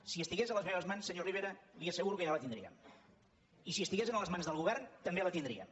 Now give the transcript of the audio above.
si estigués a les meves mans senyor rivera li asseguro que ja la tindríem i si estigués a les mans del govern també la tindríem